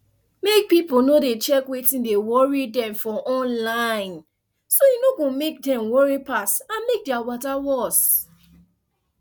mek pipo no dey check wetin dey worry dem for online so e no go mek dem worry pass and mek their matter worse